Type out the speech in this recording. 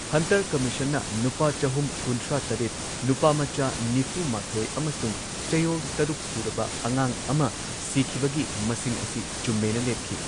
Hunter ꯀꯝꯃꯤꯁꯟꯅ ꯅꯨꯄꯥ ꯆꯍꯨꯝ ꯀꯨꯟꯊ꯭ꯔꯥ ꯇꯔꯦꯠ, ꯅꯨꯄꯥꯃꯆꯥ ꯅꯤꯐꯨ ꯃꯥꯊꯣꯏ ꯑꯃꯁꯨꯡ ꯆꯌꯣꯜ ꯇꯔꯨꯛ ꯁꯨꯔꯕ ꯑꯉꯥꯡ ꯑꯃ ꯁꯤꯈꯤꯕꯒꯤ ꯃꯁꯤꯡ ꯑꯁꯤ ꯆꯨꯝꯃꯦꯅ ꯂꯦꯞꯈꯤ꯫